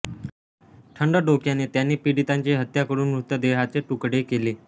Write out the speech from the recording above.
थंड डोक्याने त्यांनी पीडितांची हत्या करून मृतदेहाचे तुकडे केले